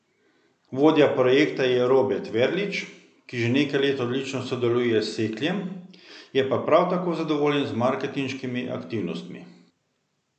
Vodja projekta je Robert Verlič, ki že nekaj let odlično sodeluje s Sekljem, je pa prav tako zadovoljen z marketinškimi aktivnostmi.